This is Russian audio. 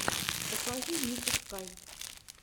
покажи нику скай